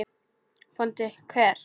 BÓNDI: Hver?